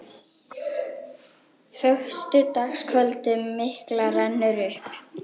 Föstudagskvöldið mikla rennur upp.